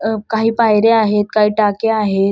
अ काही पायऱ्या आहेत काही टाक्या आहेत.